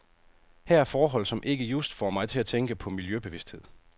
Her er forhold som ikke just får mig til at tænke på miljøbevidsthed.